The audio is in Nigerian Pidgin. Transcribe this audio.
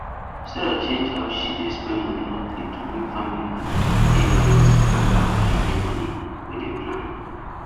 sarah change how she dey spend money monthly to make family money dey balance after holiday money wey dem plan